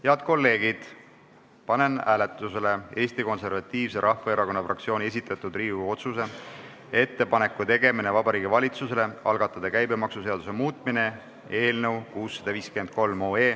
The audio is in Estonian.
Head kolleegid, panen hääletusele Eesti Konservatiivse Rahvaerakonna fraktsiooni esitatud Riigikogu otsuse "Ettepaneku tegemine Vabariigi Valitsusele algatada käibemaksuseaduse muutmine" eelnõu 653.